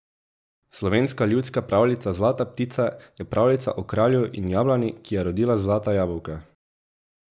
Slovenska ljudska pravljica Zlata ptica je pravljica o kralju in jablani, ki je rodila zlata jabolka.